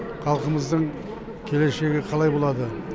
халқымыздың келешегі қалай болады